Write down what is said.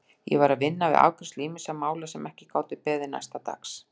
Ég var að vinna við afgreiðslu ýmissa mála sem ekki gátu beðið næsta dags.